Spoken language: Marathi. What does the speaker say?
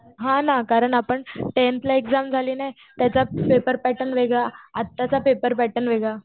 हा ना. कारण आपण टेंथला एक्झाम झाली ना. त्याचा पेपर पॅटर्न वेगळा. आताच पेपर पॅटर्न वेगळा.